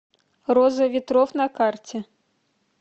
роза ветров на карте